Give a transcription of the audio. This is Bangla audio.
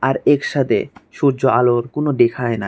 আর এর সাতে সূর্যর আলোর কোনো দেখায় নাই।